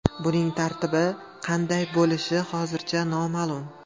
Buning tartibi qanday bo‘lishi hozircha noma’lum.